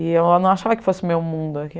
E eu não achava que fosse meu mundo aqui.